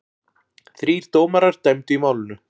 Þrír dómarar dæmdu í málinu.